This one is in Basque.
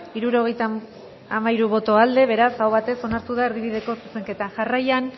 hirurogeita hamairu boto aldekoa beraz aho batez onartu da erdibideko zuzenketa jarraian